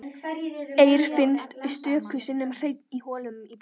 Eir finnst stöku sinnum hreinn í holum í bergi.